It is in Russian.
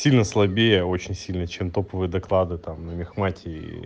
сильно слабея очень сильно чем топовые доклады там на мехмате и